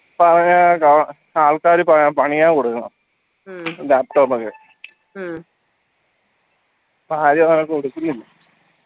പഴയ ആൾക്കാര പണിയാ കൊടുക്കുന്ന laptop ഒക്കെ